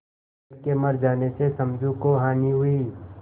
बैल के मर जाने से समझू को हानि हुई